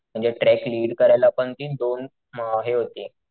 म्हणजे trek lead करायला पण दोन हे होते,